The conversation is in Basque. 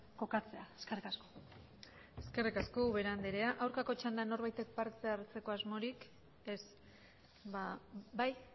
kokatzea eskerrik asko eskerrik asko ubera andrea aurkako txandan norbaitek parte hartzeko asmorik ez bai